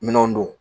Minɛnw don